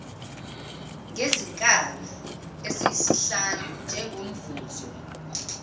ngezinkabi eziyisihlanu njengomvuzo